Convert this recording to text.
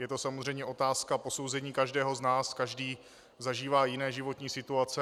Je to samozřejmě otázka posouzení každého z nás, každý zažívá jiné životní situace.